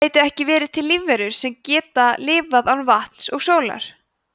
gætu ekki verið til lífverur sem geta lifað án vatns og sólar